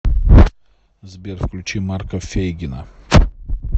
сбер включи марка фейгина